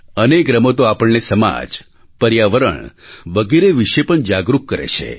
અનેક રમતો આપણને સમાજ પર્યાવરણ વગેરે વિશે પણ જાગરુક કરે છે